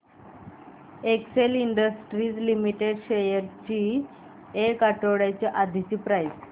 Excel industries limited shares ची एक आठवड्या आधीची प्राइस